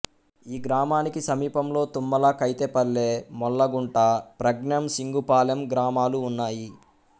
ఈ గ్రామానికి సమీపంలో తుమ్మల కైతేపల్లె మోళ్ళగుంట ప్రజ్ఞం సింగుపాలెం గ్రామాలు ఉన్నాయి